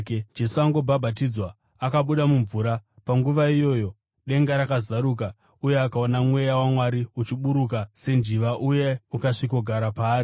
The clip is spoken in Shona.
Jesu angobhabhatidzwa, akabuda mumvura. Panguva iyoyo denga rakazaruka, uye akaona Mweya waMwari uchiburuka senjiva uye ukasvikogara paari.